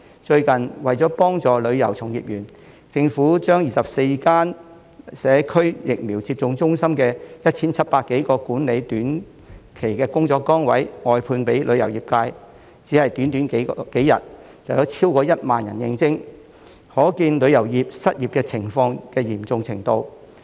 最近，為幫助旅遊從業員，政府將24間社區疫苗接種中心的 1,700 多個管理短期工作崗位，外判予旅遊業界，短短幾天，有超過1萬人應徵，可見旅遊界失業的嚴重程度。